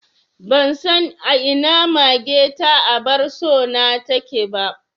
Ban san a ina mage ta abar so na take ba